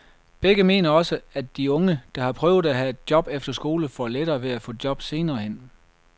Begge mener også, at de unge, der har prøvet at have et job efter skole, får lettere ved at få et job senere hen.